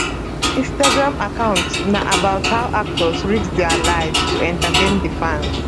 instagram account na about how actors risk dia lives to entertain dia fans